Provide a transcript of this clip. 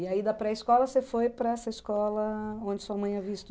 E aí, da pré-escola, você foi para essa escola onde sua mãe havia